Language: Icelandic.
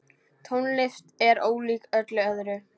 Tónlist er ólík öllu öðru.